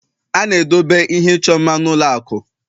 A na-edobe ihe ịchọ mma n'ụlọ akụ